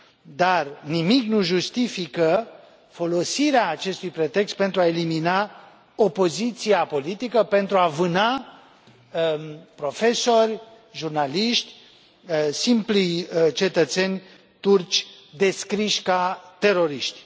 Dar nimic nu justifică folosirea acestui pretext pentru a elimina opoziția politică, pentru a vâna profesori, jurnaliști, simpli cetățeni turci descriși ca teroriști.